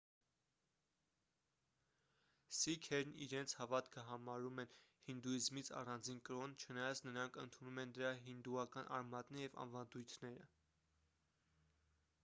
սիկհերն իրենց հավատքը համարում են հինդուիզմից առանձին կրոն չնայած նրանք ընդունում են դրա հինդուական արմատները և ավանդույթները